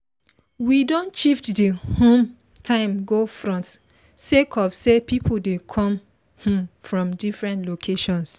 we just quick do meeting so make we fit talk our final plan for the weekend activities